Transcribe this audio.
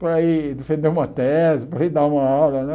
Para ir defender uma tese, para ir dar uma aula, né?